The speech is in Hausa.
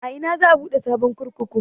A ina za a buɗe sabon kurkuku?